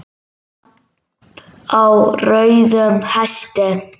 Lamb á rauðum hesti